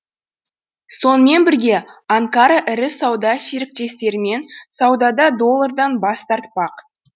сонымен бірге анкара ірі сауда серіктестерімен саудада доллардан бас тартпақ